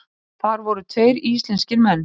Þar voru tveir íslenskir menn.